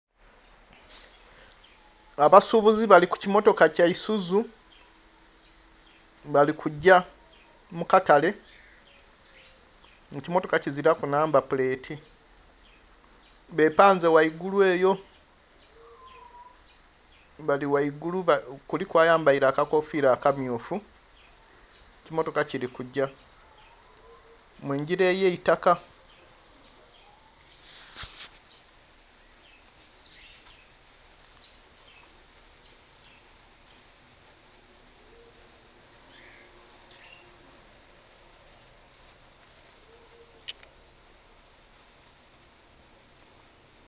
Abasubuzi baliku kimotoka kyaizuzu balikugya mukatale ekimotoka kiziraku namba pulereti bepanze ghaigulu eyo balighagulu kuliku ayambeire akakofira akammyufu ekimotoka kirikuga mugira eyaitaka.